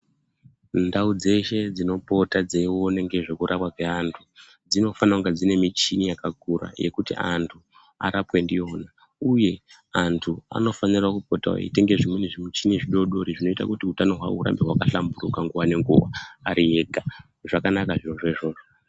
Ndau dzeshe dzinopota dzeione ngezvekurapwa kweantu dzinofanira kunge dziine michini yakakura yekuti antu arapwe ndiyona. Uye antu anofanira kupotawo eitenge zvimweni zvimichini zvidoodori zvinoita kuti utano hwavo hurambe hwakahlamburuka nguva nenguva ari ega. Zvakanaka zvirozvo izvozvo.